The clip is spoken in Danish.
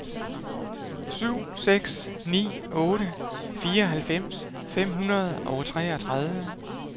syv seks ni otte fireoghalvfems fem hundrede og treogtredive